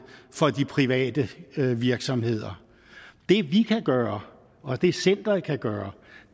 for de private virksomheder det vi kan gøre og det centeret kan gøre